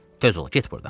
Tez ol, get burdan.